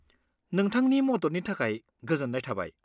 नोंथांनि मददनि थाखाय गोजोन्नाय थाबाय।